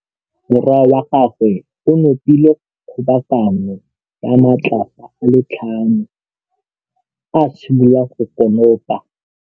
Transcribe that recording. Morwa wa gagwe o nopile kgobokanô ya matlapa a le tlhano, a simolola go konopa.